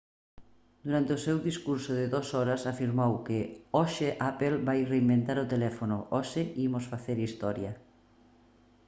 durante o seu discurso de 2 horas afirmou que hoxe apple vai reinventar o teléfono hoxe imos facer historia